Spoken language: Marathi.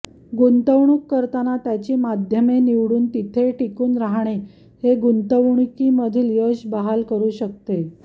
गुंतवणूक करताना त्याची माध्यमे निवडून तिथे टिकून राहणे हे गुंतवणूकी मधील यश बहाल करू शकते